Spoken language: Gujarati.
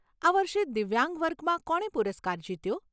આ વર્ષે દિવ્યાંગ વર્ગમાં કોણે પુરસ્કાર જીત્યો?